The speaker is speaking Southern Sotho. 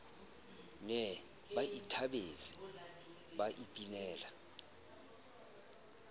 ne ba ithabetse ba ipinela